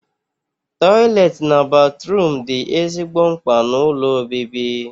Tọiletị na batruum dị ezigbo mkpa n'ụlọ obibi